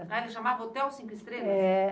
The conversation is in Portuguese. Ah, ele chamava Hotel Cinco Estrelas? É.